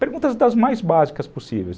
Perguntas das mais básicas possíveis.